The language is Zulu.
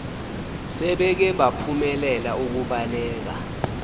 sebeke baphumelela ukubaleka